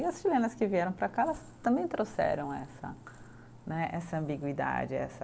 E as chilenas que vieram para cá, elas também trouxeram essa né, essa ambiguidade, essa.